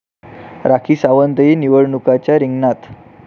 राखी सावंतही निवडणुकीच्या रिंगणात